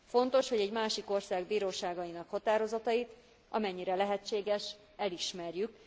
Fontos, hogy egy másik ország bíróságainak határozatait, amennyire lehetséges, elismerjük.